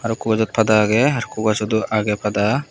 arokko gajot pada agey arokko gajodo agey pada.